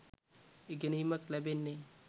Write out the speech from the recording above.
ඉගෙනීමක් ලැබෙන්නේ.